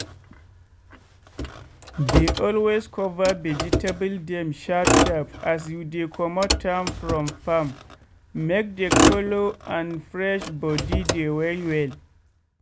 dey always cover vegetable dem sharp sharp as you dey comot am from farm make de color and fresh body dey well well.